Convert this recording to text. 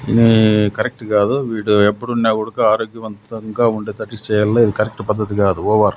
ఇనీ correct కాదు వీడు ఎప్పుడున్నా గుడుకా ఆరోగ్యం వంతంగా ఉండేతట్టు చెయ్యాలి ఇది కరెక్ట్ పద్ధతి కాదు ఓవర్ .